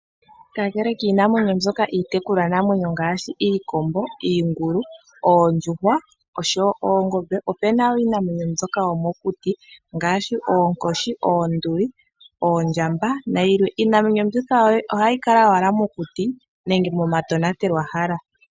Kakele kiinamwenyo mbyoka iitekulwanamwenyo ngaashi iikombo , iingulu, oondjuhwa noshowoo oongombe, opu na wo iinamwenyo mbyoka yomokuti ngaashi oonkoshi, oonduli , oondjamba nayilwe. Iinamwenyo mbyika ohayi kala owala mokuti nenge momatonatelwahala.